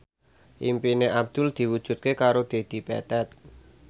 impine Abdul diwujudke karo Dedi Petet